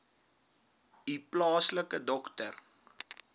u plaaslike dokter